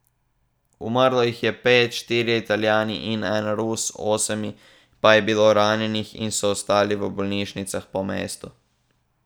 Umrlo jih je pet, štirje Italijani in en Rus, osem pa je bilo ranjenih in so ostali v bolnišnicah po mestu.